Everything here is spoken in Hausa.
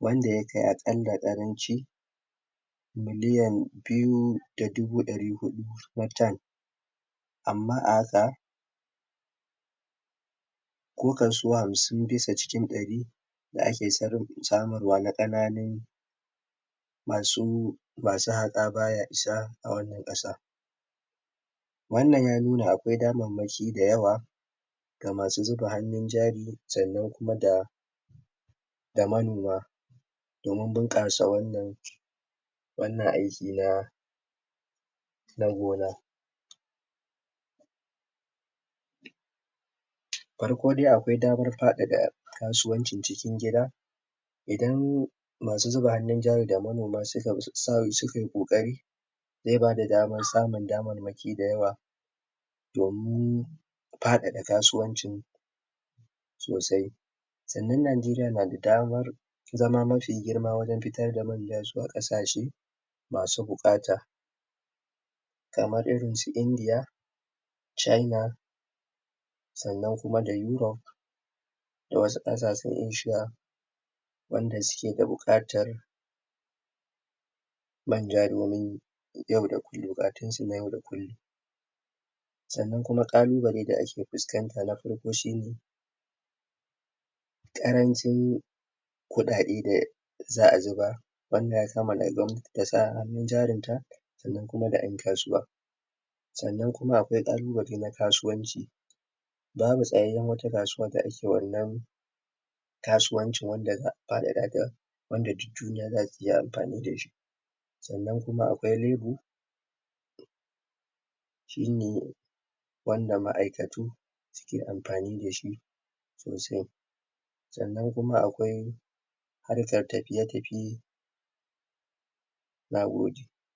wanda ya kai akalla Ƙaranci miliyan biyuda dubu dari hudu na tan amma a haka ko kaso hamsim bisa cikin dari da ake samarwa na Ƙananin masu... masu haƘa baya isa a wanna Ƙasa wannan ya nuna akwai dammaki da yawa ga masuzuba hannu jari sannan kuma da da manoma domin bunƘasa wannan wannan aiki na na gona farko da akwai damar fadada kasuwancin cikin gida idan masu zuba hannun jari da manoma sukayi kokari zai bada damar samun dammaki da yawa domin fadada kasuwancin sosai sannan najeriya nada damar zama mafi girma wajen fitar da man nan zuwa Ƙasashe masu buƘata kamar irinsu su india china sannan kuma da europe da wasu Ƙasashen asia wanda sauke da buƘatar manja domin yau da kullum, buƘatunsu na yau da kullum sannan kuma kalubale da ake fuskanta na farko shi ne Ƙarancin kudade da za'a zuba wanan yasa asa hannun jarinta sannan kuma da yan kasuwa sannan kuma akwai Ƙalubale na kasuwanci babu tsayyayan wani kasuwa da ake wannan kasuwancin wanda zaka ga wanda duk duniya zasu iya amfani dashi sannan kuma kawi labor shi ne wanda ma'aikatu ke amfani dashi sosai sannan kma akwai harkar tafiye tafi nagode.